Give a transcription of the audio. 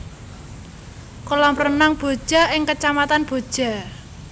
Kolam Renang Boja ing Kacamatan Boja